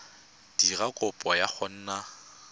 dira kopo ya go nna